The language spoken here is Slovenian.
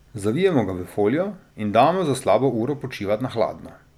Zavijemo ga v folijo in damo za slabo uro počivat na hladno.